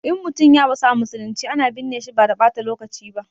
In mutum ya rasu a musulunce, ana binne shi ba da ɓata lokaci ba.